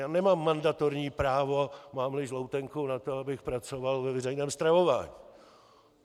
Já nemám mandatorní právo, mám-li žloutenku, na to, abych pracoval ve veřejném stravování.